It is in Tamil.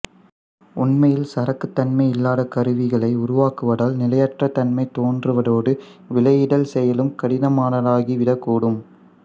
உண்மையில் சரக்குத் தன்மை இல்லாத கருவிகளை உருவாக்குவதால் நிலையற்ற தன்மை தோன்றுவதோடு விலையிடல் செயலும் கடினமானதாகிவிடக்கூடும்